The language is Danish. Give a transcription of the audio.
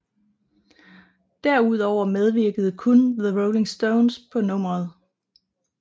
Derudover medvirkede kun The Rolling Stones på nummeret